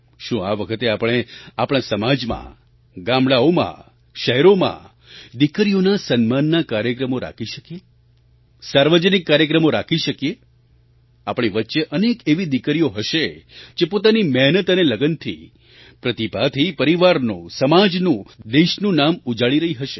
શું આ વખતે આપણે આપણા સમાજમાં ગામડાંઓમાં શહેરોમાં દીકરીઓના સન્માનના કાર્યક્રમો રાખી શકીએ સાર્વજનિક કાર્યક્રમો રાખી શકીએ આપણી વચ્ચે અનેક એવી દીકરીઓ હશે જે પોતાની મહેનત અને લગનથી પ્રતિભાથી પરિવારનું સમાજનું દેશનું નામ ઉજાળી રહી હશે